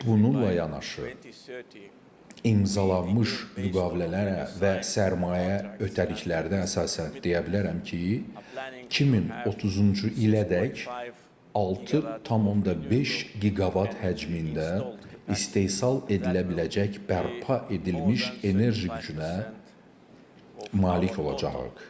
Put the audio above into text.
Bununla yanaşı imzalanmış müqavilələrə və sərmayə ötəriliklərə əsasən deyə bilərəm ki, 2030-cu ilədək 6,5 giqavat həcmində istehsal edilə biləcək bərpa edilmiş enerji gücünə malik olacağıq.